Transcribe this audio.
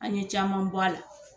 An ye caman bɔ a la.